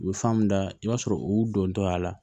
U bɛ fan mun da i b'a sɔrɔ u dontɔya la